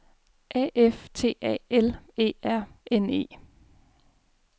A F T A L E R N E